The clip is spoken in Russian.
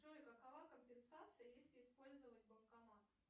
джой какова компенсация если использовать банкомат